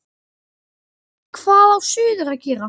Hvað á suður að gera?